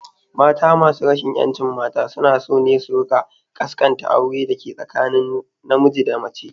Mata masu rajin ƴancin mata suna so ne su rika kaskanta aure dake tsakanin na miji da mace